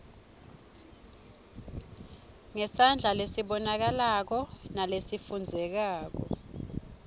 ngesandla lesibonakalako nalesifundzekako